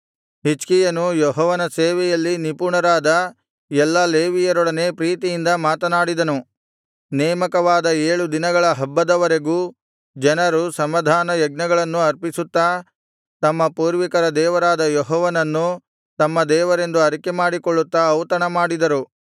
ಹಿಜ್ಕೀಯನು ಯೆಹೋವನ ಸೇವೆಯಲ್ಲಿ ನಿಪುಣರಾದ ಎಲ್ಲಾ ಲೇವಿಯರೊಡನೆ ಪ್ರೀತಿಯಿಂದ ಮಾತನಾಡಿದನು ನೇಮಕವಾದ ಏಳು ದಿನಗಳ ಹಬ್ಬದವರೆಗೂ ಜನರು ಸಮಾಧಾನ ಯಜ್ಞಗಳನ್ನು ಅರ್ಪಿಸುತ್ತಾ ತಮ್ಮ ಪೂರ್ವಿಕರ ದೇವರಾದ ಯೆಹೋವನನ್ನು ತಮ್ಮ ದೇವರೆಂದು ಅರಿಕೆಮಾಡಿಕೊಳ್ಳುತ್ತಾ ಔತಣಮಾಡಿದರು